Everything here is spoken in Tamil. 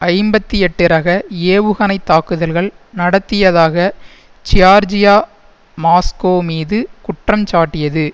ஐம்பத்தி எட்டு ரக ஏவுகணை தாக்குதல் நடத்தியதாக ஜியார்ஜியா மாஸ்கோ மீது குற்றஞ்சாட்டியது